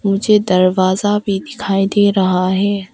मुझे दरवाजा भी दिखाई दे रहा है।